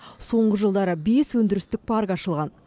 соңғы жылдары бес өндірістік парк ашылған